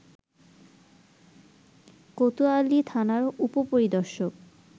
কোতোয়ালি থানার উপ-পরিদর্শক